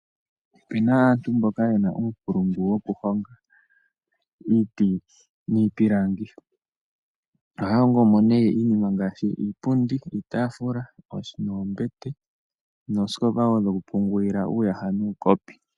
Ope na aantu mboka yena uunkulungu woku honga iiti niipilangi. Oha hongo mo nee iinima ngaashi iipundi, iitafula, noombete noosikopa wo dhoku pungulila uuyaha nuukopi.